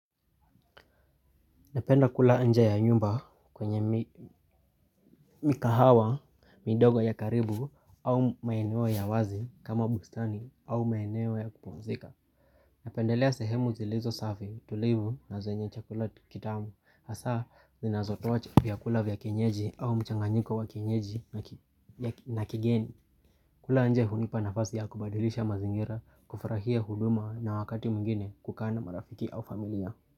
Napenda kula nje ya nyumba kwenye mikahawa, midogo ya karibu au maeneo ya wazi kama bustani au maeneo ya kupumzika Napendelea sehemu zilizo safi tulivu na zenye chakula kitamu hasa zinazotoa vyakula vya kienyeji au mchanganyiko wa kienyeji na kigeni kula nje hunipa nafasi ya kubadilisha mazingira kufurahia huduma na wakati mwingine kukaa na marafiki au familia.